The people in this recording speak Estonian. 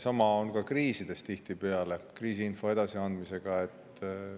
Sama on tihtipeale ka kriisides kriisiinfo edasiandmisega.